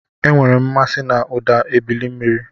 Enwere m mmasị na ụda ebili mmiri.